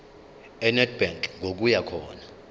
enedbank ngokuya khona